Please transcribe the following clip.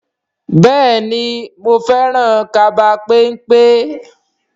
Bẹ́ẹ̀ni o, mo fẹ́ràn kaba pẹ́npẹ́?